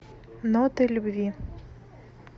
ноты любви